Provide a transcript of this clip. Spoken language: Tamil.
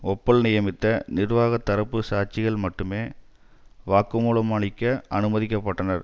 ஓப்பல் நியமித்த நிர்வாக தரப்பு சாட்சிகள் மட்டுமே வாக்கு மூலம் அளிக்க அனுமதிக்க பட்டனர்